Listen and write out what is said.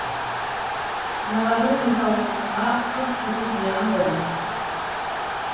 мыналарың денсаулығыңа қып қызыл зиян ғой